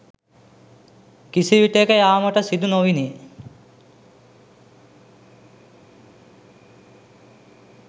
කිසිවිටෙක යාමට සිදු නොවිණි.